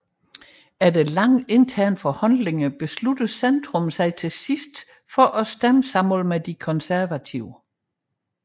Efter lange interne forhandlinger besluttede Centrum sig til sidst for at stemme sammen med de konservative